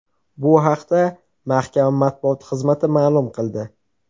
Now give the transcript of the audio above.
Bu haqda mahkama matbuot xizmati ma’lum qildi .